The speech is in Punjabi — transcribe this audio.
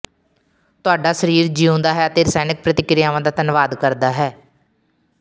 ਤੁਹਾਡਾ ਸਰੀਰ ਜੀਉਂਦਾ ਹੈ ਅਤੇ ਰਸਾਇਣਕ ਪ੍ਰਤੀਕ੍ਰਿਆਵਾਂ ਦਾ ਧੰਨਵਾਦ ਕਰਦਾ ਹੈ